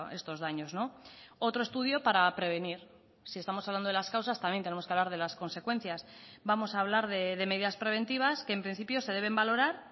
estos daños otro estudio para prevenir si estamos hablando de las causas también tenemos que hablar de las consecuencias vamos a hablar de medidas preventivas que en principio se deben valorar